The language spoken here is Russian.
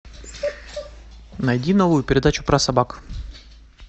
найди новую передачу про собак